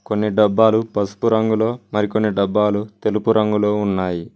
కొన్ని డబ్బాలు పసుపు రంగులో మరికొన్ని డబ్బాలు తెలుపు రంగులో ఉన్నాయి.